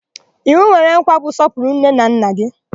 Iwu nwere nkwa bụ 'sọpụrụ nne na nna gị'